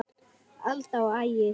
Alda og Ægir.